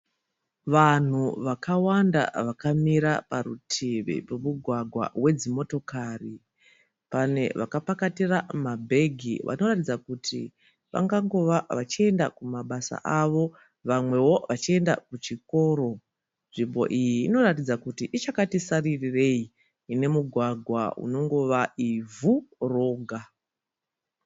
Vanhu vakawanda vakamira parutivi pemugwagwa wedzimotokari, pane vakapakatira mabag vanoratidza kuti vangangova vachienda kumabasa avo vamwewo vachienda kuchikoro. Nzvimbo iyi inotaridza kuti ichiriyakati saririreyi inemugwagwa rinongova ivhu roga.